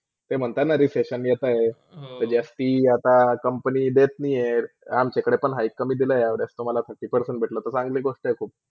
ते म्हणता ना ते Resession घेतात ते जास्ती आता company देत नय ही अमच्याकडे पण Hike कमी दिला आहे या वर्षी Thirty percent दिले आहे ते चांगली गोष्ट आहे खूप.